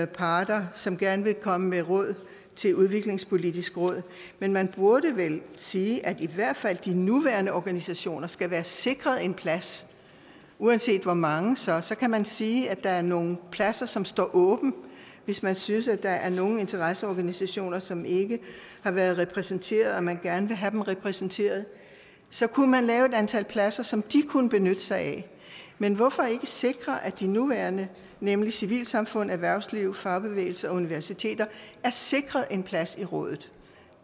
parter som gerne vil komme med råd til udviklingspolitisk råd men man burde vel sige at i hvert fald de nuværende organisationer skal være sikret en plads uanset hvor mange der så er så kan man sige at der er nogle pladser som skal stå åbne hvis man synes at der er nogle interesseorganisationer som ikke har været repræsenteret og som man gerne vil have repræsenteret så kunne man lave et antal pladser som de kunne benytte sig af men hvorfor ikke sikre at de nuværende nemlig civilsamfundet erhvervslivet fagbevægelsen og universiteterne er sikret en plads i rådet